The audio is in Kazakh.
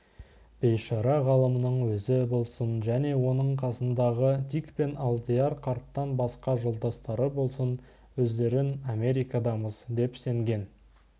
бейшара ғалымның өзі болсын және оның қасындағы дик пен алдияр қарттан басқа жолдастары болсын өздерін америкадамыз деп сенген